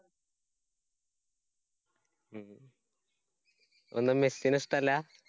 അതെന്താ മെസ്സിനെ ഇഷ്ട്ടല്ലാ?